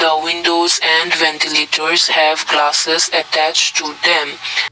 a windows and ventilators have classes attached to them.